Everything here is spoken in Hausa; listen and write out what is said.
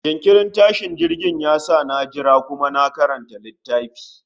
jinkirin tashin jirgin ya sa na jira kuma na karanta litaffi